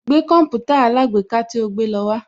Gbé Kọ̀mpútà alágbèéká tí o gbé lọ wá